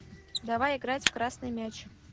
давай играть в красный мяч